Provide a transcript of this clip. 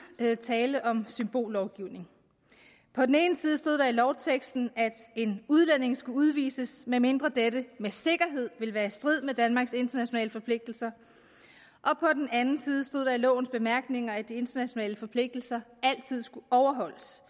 tale om symbollovgivning på den ene side stod der i lovteksten at en udlænding skulle udvises medmindre dette med sikkerhed ville være i strid med danmarks internationale forpligtelser og på den anden side stod der i lovens bemærkninger at de internationale forpligtelser altid skulle overholdes